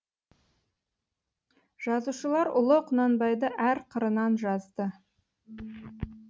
жазушылар ұлы құнанбайды әр қырынан жазды